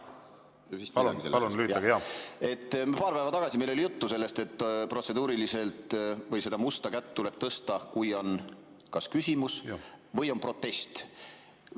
Paar päeva tagasi oli meil juttu sellest, et seda musta kätt tuleb tõsta, kui on kas küsimus või on protest.